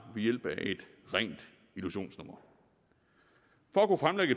ved hjælp af et rent illusionsnummer